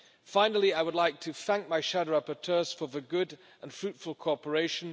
Finally, I would like to thank my shadow rapporteurs for their good and fruitful cooperation.